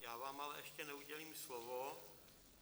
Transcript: Já vám ale ještě neudělím slovo.